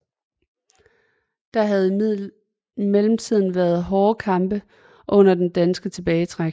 Der havde i mellemtiden været hårde kampe under den danske tilbagetrækning